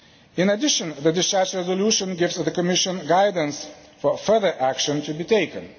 In addition, the discharge resolution gives the Commission guidance for further action to be taken.